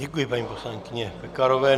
Děkuji paní poslankyni Pekarové.